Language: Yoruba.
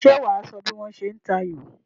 Ṣé wà á sọ bí wọ́n ṣe ń ta ayò?